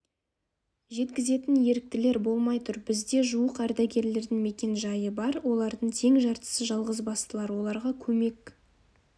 жеткізетін еріктілер болмай тұр бізде жуық ардагердің мекен-жайы бар олардың тең жартысы жалғызбастылар оларға көмек